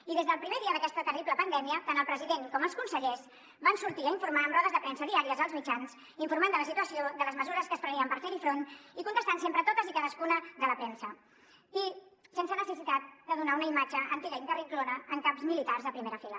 i des del primer dia d’aquesta terrible pandèmia tant el president com els consellers van sortir a informar amb rodes de premsa diàries als mitjans informant de la situació de les mesures que es prenien per fer hi front i contestant sempre a totes i cadascuna de les preguntes de la premsa i sense necessitat de donar una imatge antiga i carrinclona amb caps militars a primera fila